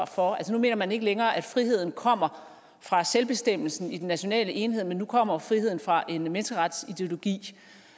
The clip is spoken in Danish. for altså nu mener man ikke længere at friheden kommer fra selvbestemmelsen i den nationale enhed men nu kommer friheden fra en menneskeretsideologi